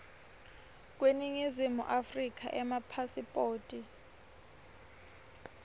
kweningizimu afrika emapasiphoti